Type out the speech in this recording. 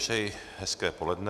Přeji hezké poledne.